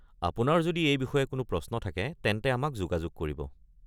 আপোনাৰ যদি এই বিষয়ে কোনো প্ৰশ্ন থাকে, তেন্তে আমাক যোগাযোগ কৰিব।